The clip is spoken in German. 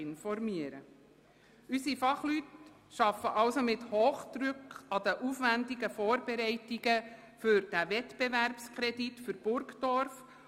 Unsere Fachleute arbeiten mit Hochdruck an den aufwändigen Vorbereitungen für den Wettbewerbskredit für Burgdorf.